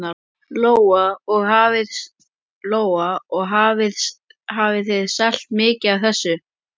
Lóa: Og hafið þið selt mikið af þessu?